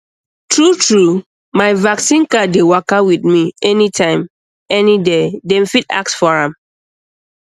truetrue um my vaccine card dey waka with me anytime um any day dem fit ask um for am